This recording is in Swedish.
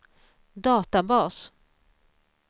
databas